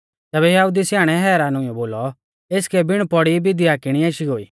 तैबै यहुदी रै स्याणै हैरान हुइयौ बोलौ एसकै बिण पौड़ी विद्या किणी आशी गोई